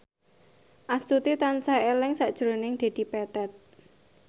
Astuti tansah eling sakjroning Dedi Petet